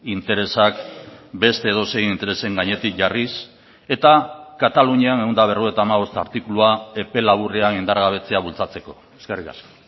interesak beste edozein interesen gainetik jarriz eta katalunian ehun eta berrogeita hamabost artikulua epe laburrean indargabetzea bultzatzeko eskerrik asko